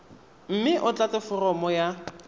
mme o tlatse foromo ya